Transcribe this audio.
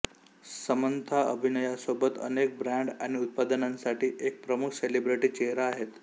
Samantha अभिनयासोबत अनेक brand आणि उत्पादनांसाठी एक प्रमुख सेलिब्रिटी चेहरा आहेत